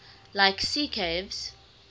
like sea caves